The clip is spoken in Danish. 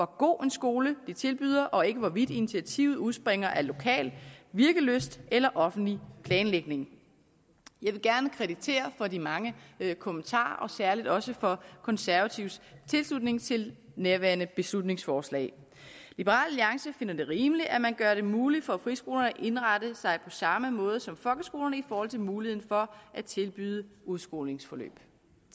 god en skole de tilbyder og ikke hvorvidt initiativet udspringer af lokal virkelyst eller offentlig planlægning jeg vil gerne kvittere for de mange kommentarer og særlig også for konservatives tilslutning til nærværende beslutningsforslag liberal alliance finder det rimeligt at man gør det muligt for friskolerne at indrette sig på samme måde som folkeskolerne i forhold til muligheden for at tilbyde udskolingsforløb